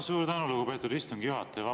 Suur tänu, lugupeetud istungi juhataja!